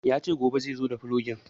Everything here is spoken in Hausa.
Ya ce gobe zaizo da fulogin